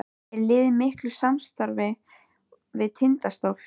Er liðið í miklu samstarfi við Tindastól?